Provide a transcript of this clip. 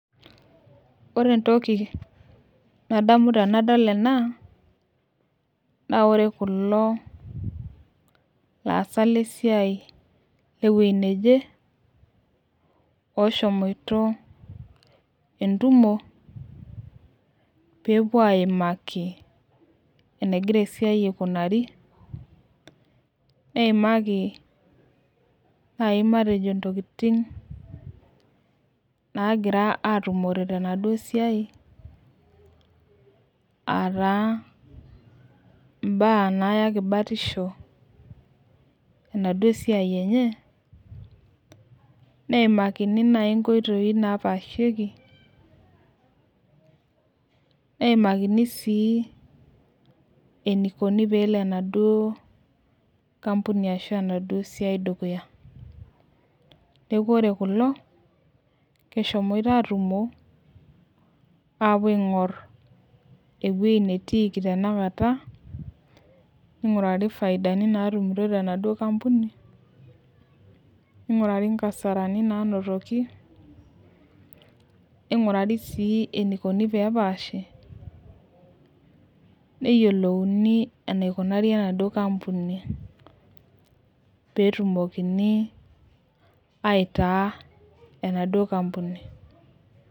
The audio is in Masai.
Ore entoki nadamu tenadol enaa, naa ore kulo aasak le siai le ewuejii naje, oshomoito entumo peepuo aimaki enegira esiai aikunaari, neimaaki naaji matejo iintokitin naagira atumore tenaduo siai aa taa imba naayaki batisho, enaduo siai enye, neimakini naaji inkoitoi naapashieki, neimakini sii enaeikoni peelo enaduo kampuni ashu enaduo siai dukuya. Neaku ore kulo neshomoito aatumo aapuo aing'or ewueji netiiki tena kata, neig'urariiifaidani naatumitoi tenaduo kampuni, neing'urari inkasarani nainotoki, neing'urari sii eneikoni pee epaashim, neyolouni eneikunaari enaduo kampuni , peetumokini aitaa enaduo kampuni.